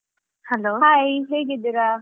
Hai ಹೇಗಿದ್ದೀರಾ?